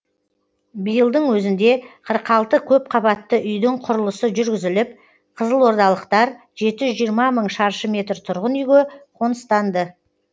биылдың өзінде қырық алты көпқабатты үйдің құрылысы жүргізіліп қызылордалықтар жеті жүз жиырма мың шаршы метр тұрғын үйге қоныстанды